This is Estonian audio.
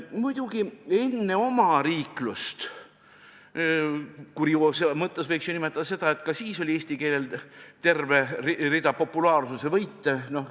Muidugi, enne omariiklust – kurioosumi mõttes võiks ju nimetada seda, et ka siis oli eesti keelel terve rida populaarsuse võite.